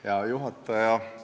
Hea juhataja!